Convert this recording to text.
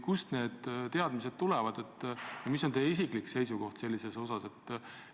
Kust need teadmised tulevad ja mis on teie isiklik seisukoht selles asjas?